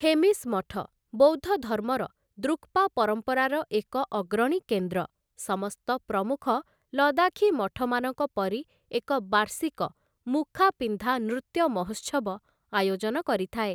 ହେମିସ୍ ମଠ, ବୌଦ୍ଧ ଧର୍ମର ଦୃକ୍‌ପା ପରମ୍ପରାର ଏକ ଅଗ୍ରଣୀ କେନ୍ଦ୍ର, ସମସ୍ତ ପ୍ରମୁଖ ଲଦାଖୀ ମଠମାନଙ୍କ ପରି ଏକ ବାର୍ଷିକ ମୁଖାପିନ୍ଧା ନୃତ୍ୟ ମହୋତ୍ସବ ଆୟୋଜନ କରିଥାଏ ।